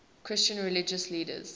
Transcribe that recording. christian religious leaders